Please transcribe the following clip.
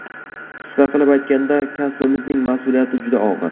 Qisqa qilib aytganda, kasbimizning mas’uliyati juda og‘ir.